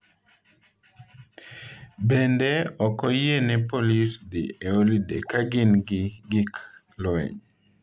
Bende, ok oyiene polis dhi e holiday ka gin gi gik lweny.